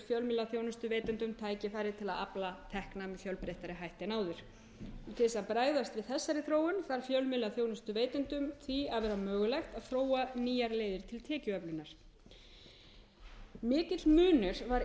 fjölmiðlaþjónustuveitendum tækifæri til að afla tekna með fjölbreyttari hætti en áður til þess að bregðast við þessari þróun þarf fjölmiðlaþjónustuveitendum því að vera mögulegt að þróa nýjar leiðir til tekjuöflunar mikill munur var